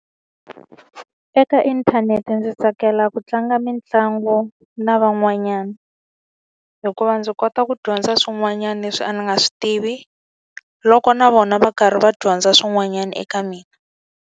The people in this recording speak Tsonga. Eka inthanete ndzi tsakela ku tlanga mitlangu na van'wanyana. Hikuva ndzi kota ku dyondza swin'wanyana leswi a ni nga swi tivi, loko na vona va karhi va dyondza swin'wanyana eka mina.